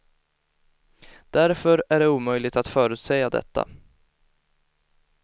Därför är det omöjligt att förutsäga detta.